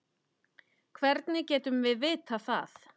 Hvernig getum við vitað það?